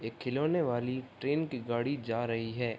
एक खिलौना वाली ट्रेन की गाड़ी जा रही है।